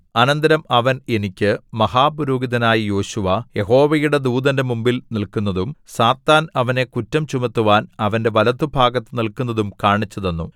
അനന്തരം അവൻ എനിക്ക് മഹാപുരോഹിതനായ യോശുവ യഹോവയുടെ ദൂതന്റെ മുമ്പിൽ നില്ക്കുന്നതും സാത്താൻ അവനെ കുറ്റം ചുമത്തുവാൻ അവന്റെ വലത്തുഭാഗത്തു നില്ക്കുന്നതും കാണിച്ചുതന്നു